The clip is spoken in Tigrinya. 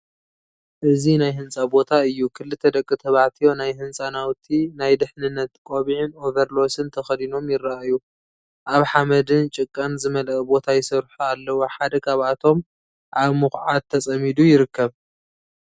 እዚ ናይ ህንጻ ቦታ እዩ። ክልተ ደቂ ተባዕትዮ ናይ ህንጻ ናውቲ (ናይ ድሕነት ቆቢዕን ኦቨርሎስን) ተኸዲኖም ይረኣዩ። ኣብ ሓመድን ጭቃን ዝተመልአ ቦታ ይሰርሑ ኣለው፤ ሓደ ካብኣቶም ኣብ ምኹዓት ተጸሚዱ ይርከብ።